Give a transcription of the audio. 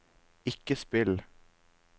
ikke spill